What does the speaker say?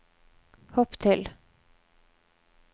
hopp til